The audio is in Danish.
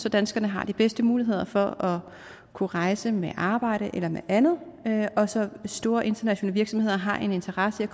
at danskerne har de bedste muligheder for at kunne rejse med arbejdet eller med andet og så store internationale virksomheder har en interesse i at